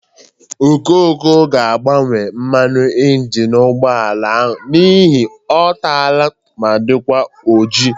Okoko ga-agbanwe mmanụ ịnjịnị ụgbọala a n'ihi ọ tala ma dịkwa ojii.